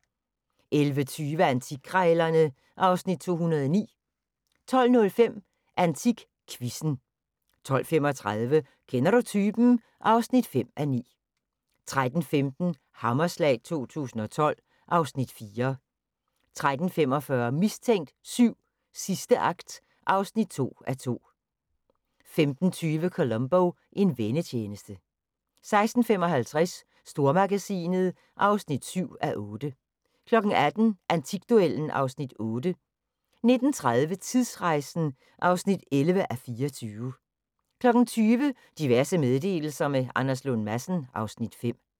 11:20: Antikkrejlerne (Afs. 209) 12:05: AntikQuizzen 12:35: Kender du typen? (5:9) 13:15: Hammerslag 2012 (Afs. 4) 13:45: Mistænkt 7: Sidste akt (2:2) 15:20: Columbo: En vennetjeneste 16:55: Stormagasinet (7:8) 18:00: Antikduellen (Afs. 8) 19:30: Tidsrejsen (11:24) 20:00: Diverse meddelelser – med Anders Lund Madsen (Afs. 5)